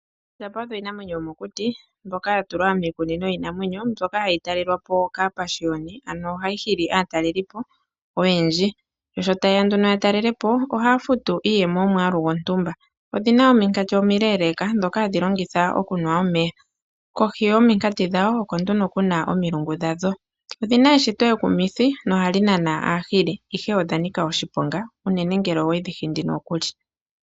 iinamwenyo yomokuti mbyoka yatulwa hayi talwalapo kaapashiyoni ano ohayi hili aatalelipo oyenndji . Sho tayeya nduno ya talelepo ohaya futu iiyemo yomwaalu gwontumba . Odhina ominkati omileeleka ndhoka hadhi longitha okunwa omeya. Kohi yominkati dhawo oko nduno kuna omilungu dhadho . Odhina eshito ekumithi nohadhi nana aahili ihe odha nika oshiponga unene ngele owedhi hindi nokuli.